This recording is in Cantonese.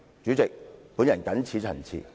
主席，我謹此陳辭。